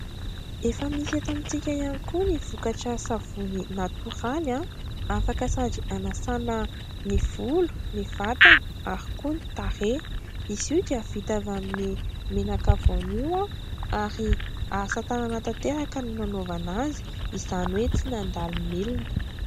Efa misy eto amitsika ihany koa ny vokatra savony natoraly, afaka sady hanasàna ny volo, ny vatana ary koa ny tarehy. Izy io dia vita avy amin'ny menaka voanio, ary asa tanana tanteraka no nanaovana azy, izany hoe tsy nandalo milina.